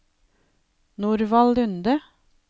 Norvald Lunde